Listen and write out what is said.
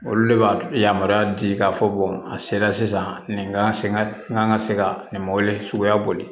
Olu le b'a yamaruya di k'a fɔ a sera sisan nin kan ka se ka n ka se ka nin mɔbili suguya boli